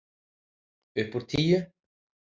Upp úr tíu.